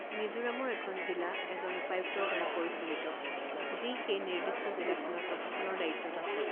মিজোৰামৰ এখন জিলা এজন উপায়ুক্তৰ দ্বাৰা পৰিচালিত যি সেই নিৰ্দিষ্ট জিলাখনত প্ৰশাসনৰ দায়িত্বত আছে।